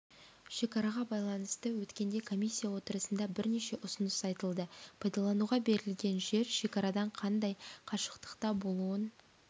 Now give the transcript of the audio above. шекараға байланысты өткенде комиссия отырысында бірнеше ұсыныс айтылды пайдалануға берілетін жер шекарадан қандай қашықтықта болуын